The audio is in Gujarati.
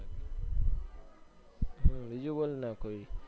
હમ બીજું બોલ ને